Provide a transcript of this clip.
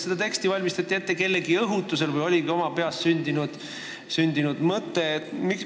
Kas seda teksti valmistati ette kellegi õhutusel või oligi see teie oma peas sündinud mõte?